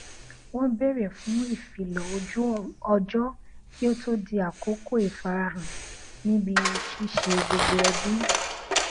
wọn bèrè fún ìfilọ ojú ọjọ kí ó to di àkókò ìfarahàn níbi ṣíṣe gbogbo ẹbì